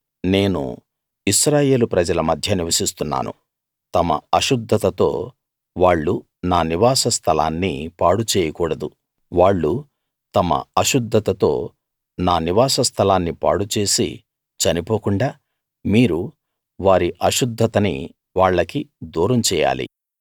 నేను ఇశ్రాయేలు ప్రజల మధ్య నివసిస్తున్నాను తమ అశుద్ధతతో వాళ్ళు నా నివాస స్థలాన్ని పాడు చేయకూడదు వాళ్ళు తమ అశుద్ధతతో నా నివాస స్థలాన్ని పాడు చేసి చనిపోకుండా మీరు వారి అశుద్ధతని వాళ్ళకి దూరం చేయాలి